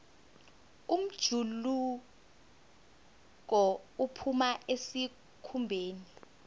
umjuluko uphuma esikhumbeni